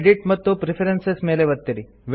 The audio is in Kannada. ಎಡಿಟ್ ಮತ್ತು ಪ್ರೆಫರೆನ್ಸಸ್ ಮೇಲೆ ಒತ್ತಿರಿ